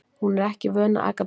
Hún er ekki vön að aka bíl.